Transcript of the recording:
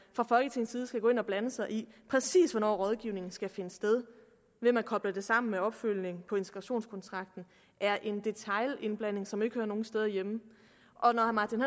fra folketingets side skal gå ind og blande sig i præcis hvornår rådgivningen skal finde sted ved at man kobler det sammen med opfølgning på integrationskontrakten er en detailindblanding som ikke hører nogen steder hjemme når herre martin